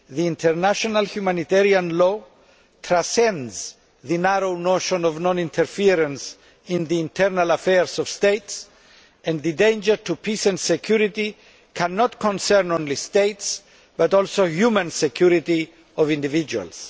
International humanitarian law transcends the narrow notion of non interference in the internal affairs of states and the danger to peace and security cannot concern only states, but also the security of individuals.